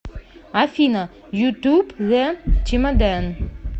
афина ютуб зэ чемодэн